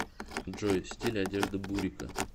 джой стиль одежды бурико